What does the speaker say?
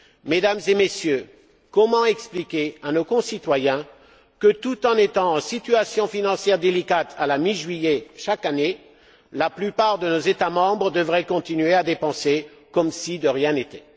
Mesdames et Messieurs, comment expliquer à nos concitoyens que, tout en étant en situation financière délicate à la mi juillet chaque année, la plupart de nos États membres devraient continuer à dépenser comme si de rien n'était?